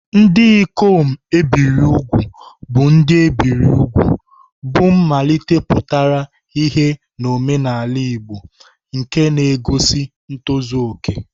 Ndị ikom e biri úgwù bụ ndị e biri úgwù, bụ́ mmalite pụtara ìhè n'omenala Igbo, nke na-egosi ntozu okè.